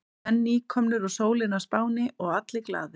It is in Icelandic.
Menn nýkomnir úr sólinni á Spáni og allir glaðir.